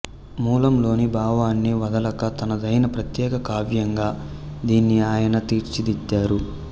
మూలంలోని భావాన్ని వదలక తనదైన ప్రత్యేక కావ్యంగా దీన్ని ఆయన తీర్చిదిద్దారు